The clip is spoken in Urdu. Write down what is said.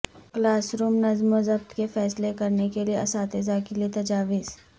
کلاس روم نظم و ضبط کے فیصلے کرنے کے لئے اساتذہ کے لئے تجاویز